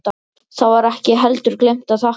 Þá var ekki heldur gleymt að þakka.